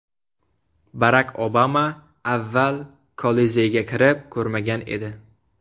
Barak Obama avval Kolizeyga kirib ko‘rmagan edi.